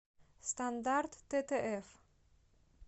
стандарт ттф